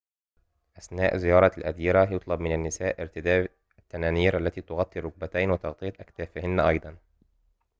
أثناء زيارة الأديرة يُطلب من النساء ارتداء التنانير التي تغطي الركبتين وتغطية أكتافهن أيضاً